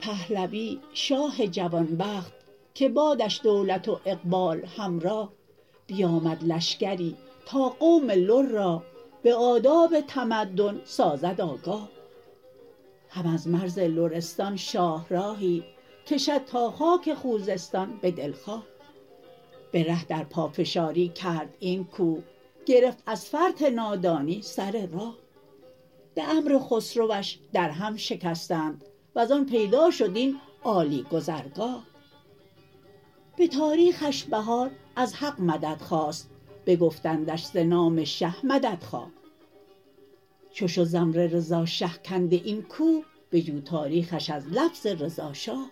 پهلوی شاه جوانبخت که بادش دولت و اقبال همراه بیامد لشکری تا قوم لر را به آداب تمدن سازد آگاه هم از مرز لرستان شاه راهی کشد تا خاک خوزستان به دلخواه به ره در پافشاری کرد این کوه گرفت از فرط نادانی سر راه به امر خسروش در هم شکستند وز آن پیدا شد این عالی گذرگاه به تاریخش بهار از حق مدد خواست بگفتندش ز نام شه مدد خواه چو شد ز امر رضا شه کنده این کوه بجو تاریخش از لفظ رضا شاه